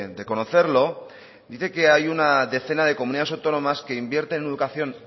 de conocerlo dice que hay una decena de comunidades autónomas que invierten en educación